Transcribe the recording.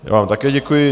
Já vám také děkuji.